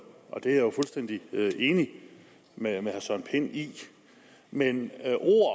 og det er jeg jo fuldstændig enig med herre søren pind i men